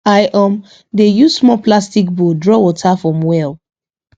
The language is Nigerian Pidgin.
i um dey use small plastic bowl draw water from welll